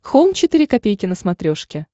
хоум четыре ка на смотрешке